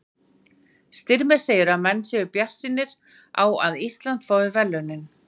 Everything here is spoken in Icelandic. Styrmir segir að menn séu bjartsýnir á að Ísland fái verðlaunin.